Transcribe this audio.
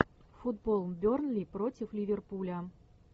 футбол бернли против ливерпуля